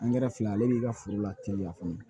fila ale b'i ka foro la teliya fana